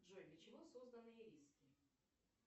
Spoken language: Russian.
джой для чего созданы ириски